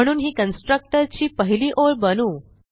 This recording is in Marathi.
म्हणून ही कन्स्ट्रक्टर ची पहिली ओळ बनवू